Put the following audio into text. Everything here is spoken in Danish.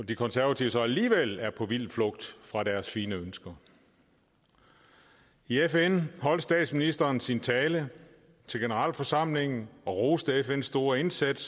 de konservative så alligevel er på vild flugt fra deres fine ønsker i fn holdt statsministeren sin tale til generalforsamlingen hvor roste fns store indsats